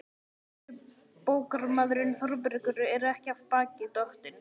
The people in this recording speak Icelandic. En þrætubókarmaðurinn Þórbergur er ekki af baki dottinn.